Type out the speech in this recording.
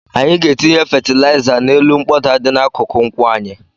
Anyị ga-etinye fatịlaịza n'elu mkpọda dị n'akụkụ nkwụ anyị.